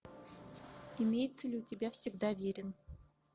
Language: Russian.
имеется ли у тебя всегда верен